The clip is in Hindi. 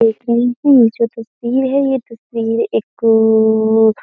लेकिन ये जो तस्वीर है ये तस्वीर एक --